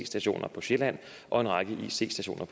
stationer på sjælland og en række ic stationer